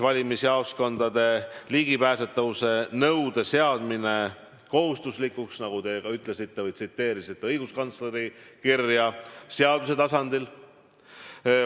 Valimisjaoskondade ligipääsetavuse nõude seadmine kohustuslikuks, nagu te ka ütlesite või tsiteerisite õiguskantsleri kirja, seaduse tasandil.